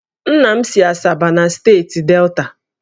Nna m si Asaba na steeti Delta